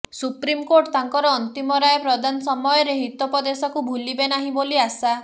supreme court ତାଙ୍କର ଅନ୍ତିମ ରାୟ ପ୍ରଦାନ ସମୟରେ ହିତୋପଦେଶକୁ ଭୁଲିବେ ନାହିଁ ବୋଲି ଆଶା